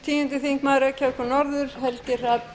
virðulegi forseti ég er búinn að